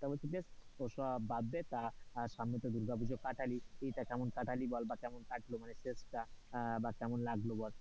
তা বলছি যে ওসব বাদ দে তা সামনে তো দুর্গাপুজো কাটালি, ঈদ টা কেমন কাটালি বা কেমন কাটলো মনে বা কেমন লাগলো বল,